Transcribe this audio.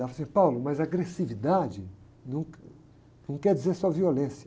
Ela falou assim, mas agressividade não, não quer dizer só violência.